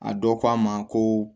A dɔ ko a ma ko